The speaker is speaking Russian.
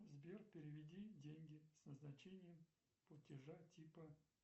сбер переведи деньги с назначением платежа типа